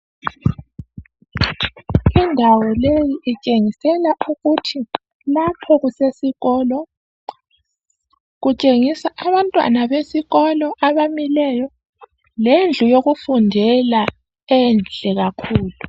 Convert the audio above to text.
Indawo leyi itshengisela ukuthi lapho kusesikolo kutshengisa abantwana besikolo abamileyo lendlu yokufundela enhle kakhulu.